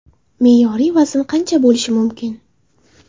Me’yoriy vazn qancha bo‘lishi mumkin?